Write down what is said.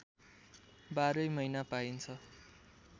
बाह्रै महिना पाइन्छ